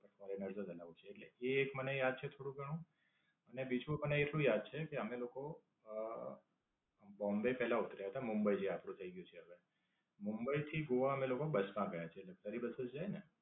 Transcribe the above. Foreigners જ aloud છે એટલે એ એક મને યાદ છે થોડું ઘણું. અને બીજું મને એટલું યાદ છે કે અમે લોકો અમ બોમ્બે પહેલા ઉતરી ગયા હતા મુંબઈ જે આપણું થાય ગયું છે હવે. મુંબઈ થી ગોવા અમે લોકો બસ માં ગયા છીએ સરકારી બસો છે ને